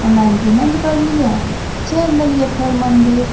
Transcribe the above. Online payment करलिये चल देलिए फेर मंदिर।